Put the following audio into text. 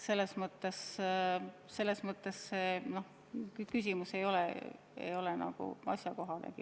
Selles mõttes see küsimus ei ole nagu asjakohane.